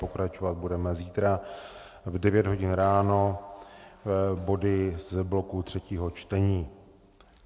Pokračovat budeme zítra v 9 hodin ráno body z bloku třetího čtení.